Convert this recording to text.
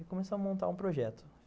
Aí começamos a montar um projeto.